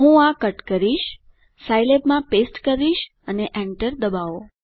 હું આ કટ કરીશ સાઈલેબમાં પેસ્ટ કરીશ અને એન્ટર ડબાઓ